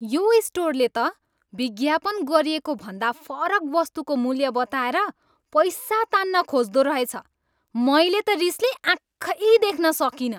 यो स्टोरले त विज्ञापन गरिएको भन्दा फरक वस्तुको मूल्य बताएर पैसा तान्न खोज्दो रहेछ। मैले त रिसले आँखै देख्न सकिनँ।